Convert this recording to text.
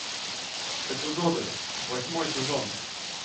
эпизоды восьмой сезон